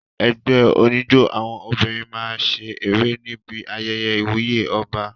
Ẹgbẹ́ oníjó àwọn obìnrin máa ṣe eré níbi ayẹyẹ ìwúyè ọba.